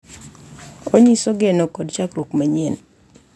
Onyiso geno kod chakruok manyien.